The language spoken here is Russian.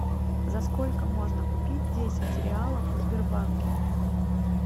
за сколько можно купить десять реалов в сбербанке